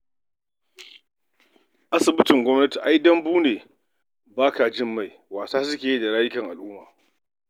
Asibitin gwamnati ai "dambu ne ba ka jin mai" wasa suke da lafiyar al'umma.